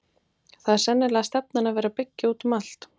Það er sennilega stefnan að vera byggja út um allt?